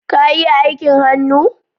Ka iya aikin hannu?